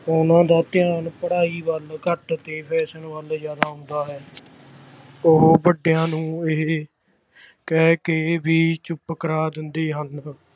ਉਹਨਾਂ ਦਾ ਧਿਆਨ ਪੜ੍ਹਾਈ ਵੱਲ ਘੱਟ ਤੇ fashion ਵੱਲ ਜ਼ਿਆਦਾ ਹੁੰਦਾ ਹੈ ਉਹ ਵੱਡਿਆਂ ਨੂੰ ਇਹ ਕਹਿ ਕੇ ਵੀ ਚੁੱਪ ਕਰਵਾ ਦਿੰਦੇ ਹਨ